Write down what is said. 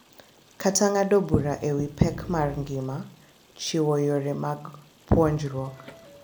Kata ng’ado bura e wi pek mag ngima, chiwo yore mag puonjruok